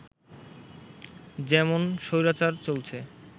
যেমন স্বৈরাচার চলছে